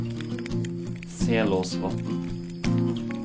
Selåsvatn